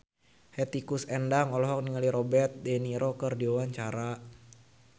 Hetty Koes Endang olohok ningali Robert de Niro keur diwawancara